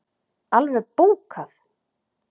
Alveg bókað!